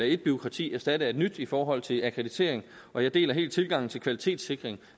et bureaukrati erstatte af et nyt i forhold til akkreditering og jeg deler helt tilgangen til kvalitetssikring